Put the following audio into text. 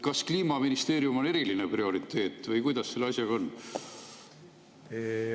Kas Kliimaministeerium on eriline prioriteet või kuidas selle asjaga on?